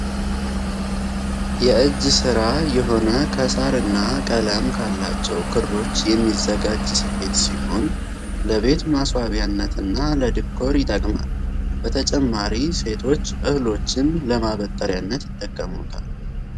የእጅ ስራ የሆነ ከሳር እና ቀለም ካላቸው ክሮች የሚዘጋጅ ስፌት ሲሆን ። ለቤት ማስዋቢያነትና ለዲኮር ይጠቅማል በተጨማሪ ሴቶች እህሎችን ለማበጠርያነት ይጠቀሙታል።